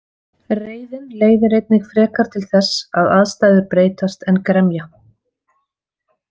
Reiðin leiðir einnig frekar til þess að aðstæður breytast en gremja.